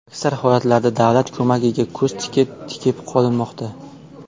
Aksar holatlarda davlat ko‘magiga ko‘z tikib tikib qolinmoqda.